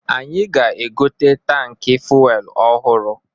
Anyị ga-egote tankị fuelu ọhụrụ.